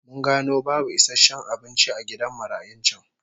Mun gano babu isasshen abinci a gidan marayun can